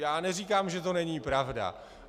Já neříkám, že to není pravda.